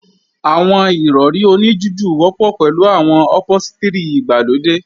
Àwọn Ìrọ̀rí oní jújù wọ́pọ̀ pẹ̀lú àwọn ọ̀póstrì ìgbàlódé